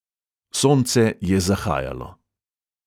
Sonce je zahajalo.